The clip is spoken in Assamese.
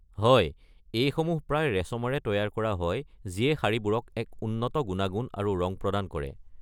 হয়, এইসমূহ প্ৰায় ৰেচমেৰে তৈয়াৰ কৰা হয় যিয়ে শাড়ীবোৰক এক উন্নত গুণাগুণ আৰু ৰং প্ৰদান কৰে।